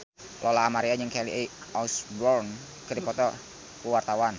Lola Amaria jeung Kelly Osbourne keur dipoto ku wartawan